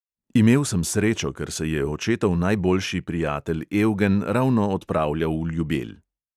Imel sem srečo, ker se je očetov najboljši prijatelj evgen ravno odpravljal v ljubelj.